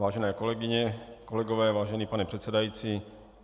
Vážené kolegyně, kolegové, vážený pane předsedající.